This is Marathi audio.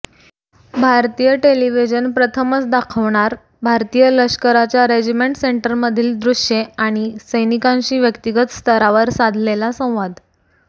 भारतीय टेलिव्हिजन प्रथमच दाखवणार भारतीय लष्कराच्या रेजिमेंट सेंटर्समधील दृश्ये आणि सैनिकांशी व्यक्तिगत स्तरावर साधलेला संवाद